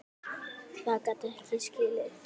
Það gat ég ekki skilið.